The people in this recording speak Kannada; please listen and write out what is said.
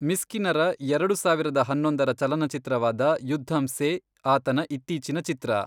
ಮಿಸ್ಕಿನರ ಎರಡು ಸಾವಿರದ ಹನ್ನೊಂದರ ಚಲನಚಿತ್ರವಾದ ಯುದ್ಧಮ್ ಸೇ ಆತನ ಇತ್ತೀಚಿನ ಚಿತ್ರ.